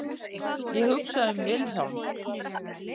Ég hugsa um Vilhjálm.